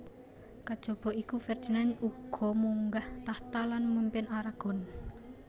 Kejaba iku Ferdinand uga munggah tahta lan mimpin Aragon